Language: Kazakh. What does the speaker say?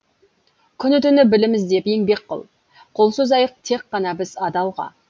күні түні білім іздеп еңбек қыл қол созайық тек қана біз адалға